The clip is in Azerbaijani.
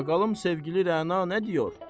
Baqalım sevgili Rəna nə diyor?